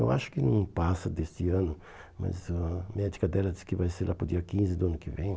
Eu acho que não passa deste ano, mas a médica dela disse que vai ser lá para o dia quinze do ano que vem.